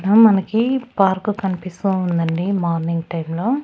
మనకి పార్క్ కనిపిస్తూ ఉందండి మార్నింగ్ టైం లో .